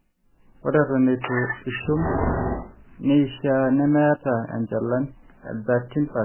ore eton itu ishum neeishiaa nemeeta enchalan e 13%